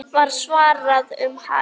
var svarað um hæl.